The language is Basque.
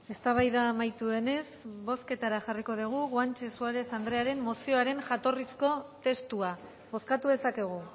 eztabaida amaitu denez bozketara jarriko dugu guanche suárez anderearen mozioaren jatorrizko testua bozkatu dezakegu